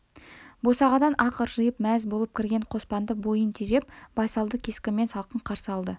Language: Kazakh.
босағадан-ақ ыржиып мәз болып кірген қоспанды бойын тежеп байсалды кескінмен салқын қарсы алды